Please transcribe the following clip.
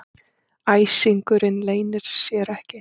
Æsingurinn leynir sér ekki.